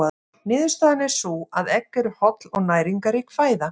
Niðurstaðan er sú að egg eru holl og næringarrík fæða.